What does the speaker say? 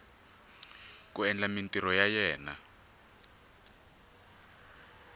ku endla mintirho ya yena